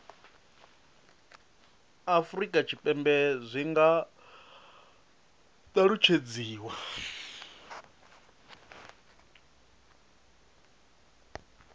afurika tshipembe zwi nga alutshedziwa